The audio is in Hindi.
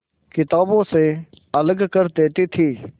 किताबों से अलग कर देती थी